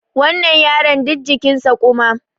wannan yaron duk jikinsa kuma